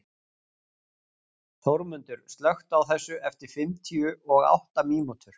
Þórmundur, slökktu á þessu eftir fimmtíu og átta mínútur.